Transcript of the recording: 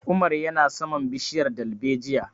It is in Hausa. Umar ya na saman bishiyar dalbejiya